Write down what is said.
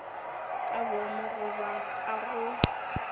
ka boomo goba ka go